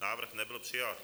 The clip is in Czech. Návrh nebyl přijat.